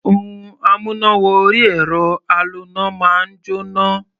Ohun amúná-wọ-orí-ẹ̀rọ aloná máa ń jóná.